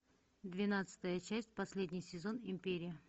двенадцатая часть последний сезон империя